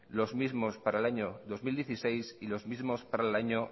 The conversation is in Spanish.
los mismos para el año dos mil dieciséis y los mismos para el año